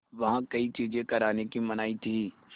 वहाँ कई चीज़ें करने की मनाही थी